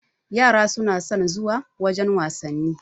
Yara na son zuwa wajen wasanni.